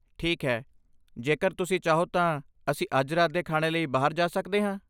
ਠੀਕ ਹੈ, ਜੇਕਰ ਤੁਸੀਂ ਚਾਹੋ ਤਾਂ ਅਸੀਂ ਅੱਜ ਰਾਤ ਦੇ ਖਾਣੇ ਲਈ ਬਾਹਰ ਜਾ ਸਕਦੇ ਹਾਂ।